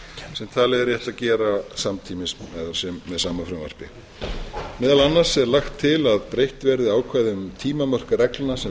sem talið er rétt að gera samtímis með sama frumvarpi á er lagt til að breytt verði ákvæðum um tímamörk reglna sem veiðifélög eða